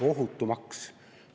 Ohutu maks!